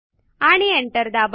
आणि एंटर दाबा